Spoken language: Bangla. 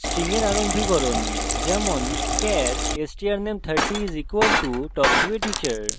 string এর আরম্ভীকরণ উদাহরণস্বরূপ: char strname 30 = talk to a teacher